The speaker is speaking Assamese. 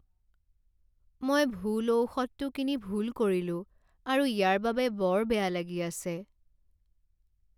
মই ভুল ঔষধটো কিনি ভুল কৰিলো আৰু ইয়াৰ বাবে বৰ বেয়া লাগি আছে।